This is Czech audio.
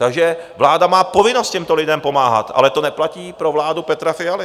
Takže vláda má povinnost těmto lidem pomáhat, ale to neplatí pro vládu Petra Fialy.